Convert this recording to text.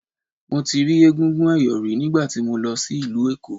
Mo ti rí egúngún ẹ̀yọ̀ rí nígbà tí mo lọ sí ìlú Èkó.